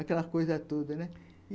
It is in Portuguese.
Aquela coisa toda, né?